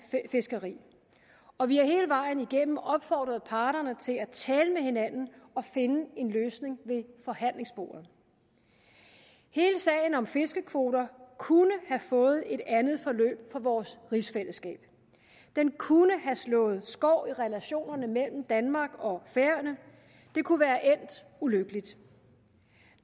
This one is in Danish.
fiskeri og vi har hele vejen igennem opfordret parterne til at tale med hinanden og finde en løsning ved forhandlingsbordet hele sagen om fiskekvoter kunne have fået et andet forløb for vores rigsfællesskab den kunne have slået skår i relationerne mellem danmark og færøerne det kunne være endt ulykkeligt